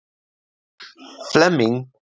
Flemming